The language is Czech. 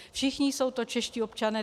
Všichni jsou to čeští občané.